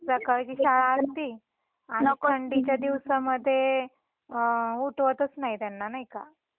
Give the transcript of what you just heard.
सकाळची शाळा असती थंडीच्या दिवसामध्ये उठवतच नाही त्यांना नाही का.